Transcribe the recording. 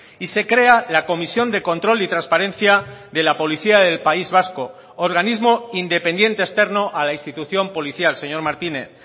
y se crea la comisión de control y transparencia de la policía del país vasco organismo independiente externo a la institución policial señor martínez